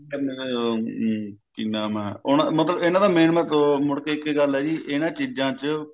ਕਿ ਨਾਮ ਐ ਮਤਲਬ ਇਹਨਾਂ ਦਾ main ਮਤਲਬ ਮੁੜ ਕੇ ਇੱਕ ਗੱਲ ਐ ਜੀ ਇਹਨਾਂ ਚੀਜਾਂ ਚ